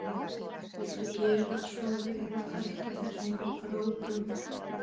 Viltu gera svo vel að hætta þessum hrópum!